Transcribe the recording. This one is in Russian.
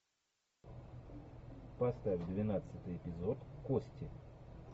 поставь двенадцатый эпизод кости